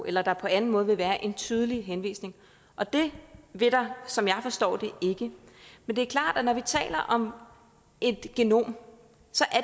eller der på anden måde vil være en tydelig henvisning og det vil der som jeg forstår det ikke men det er klart at når vi taler om et genom